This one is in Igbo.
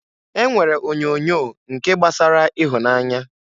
E nwere onyoonyo nke gbasara ihunanya.